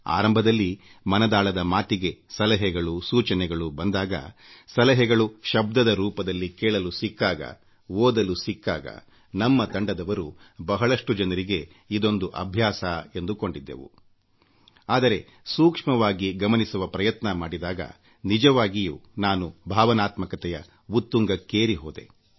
ಆರಂಭದಲ್ಲಿ ಮನದಾಳದ ಮಾತಿಗೆ ಸಲಹೆಗಳು ಸೂಚನೆಗಳು ಬಂದಾಗ ಸಲಹೆಗಳು ಶಬ್ದದ ರೂಪದಲ್ಲಿ ಕೇಳಲು ಸಿಕ್ಕಾಗ ಓದಲು ಸಿಕ್ಕಾಗ ನಮ್ಮ ತಂಡದವರು ಬಹಳಷ್ಟು ಜನರಿಗೆ ಇದೊಂದು ಅಭ್ಯಾಸವೇ ಎಂದುಕೊಂಡಿದ್ದೆವು ಆದರೆ ಸೂಕ್ಷ್ಮವಾಗಿ ಗಮನಿಸುವ ಪ್ರಯತ್ನ ಮಾಡಿದಾಗ ನಿಜವಾಗಿಯೂ ನಾನು ಭಾವನಾತ್ಮಕತೆಯ ಉತ್ತುಂಗಕ್ಕೇರಿ ಹೋದೆ